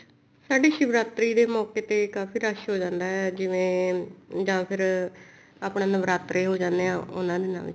ਸਾਡੇ ਸ਼ਿਵਰਾਤਰੀ ਦੇ ਮੋਕੇ ਤੇ ਕਾਫੀ ਰਸ਼ ਹੋ ਜਾਂਦਾ ਜਿਵੇਂ ਜਾਂ ਫ਼ੇਰ ਆਪਣਾ ਨਵਰਾਤਰੇ ਹੋ ਜਾਣੇ ਆ ਉਹਨਾ ਦਿਨਾ ਵਿੱਚ